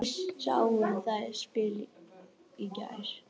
Við sáum það spil í gær.